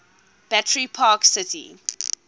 battery park city